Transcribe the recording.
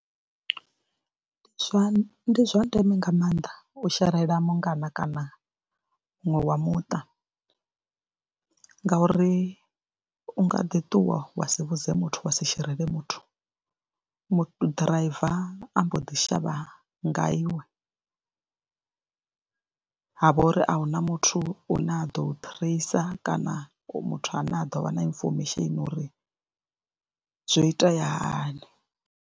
Ndi zwa ndeme nga maanḓa u sherela mungana kana muṅwe wa muṱa ngauri u nga ḓi ṱuwa wa si vhudze muthu wa si sherele muthu mu ḓiraiva a mbo ḓi shavha nga iwe ha vha uri a hu na muthu ane a ḓo u ṱhireisa kana muthu ane a ḓo vha na inifomesheni uri zwo itea hani.